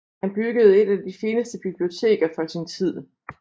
Han byggede et af de fineste biblioteker for sin tid